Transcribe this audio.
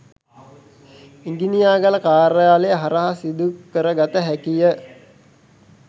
ඉඟිණියාගල කාර්යාලය හරහා සිදු කර ගත හැකිය.